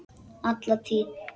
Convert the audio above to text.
Alla tíð.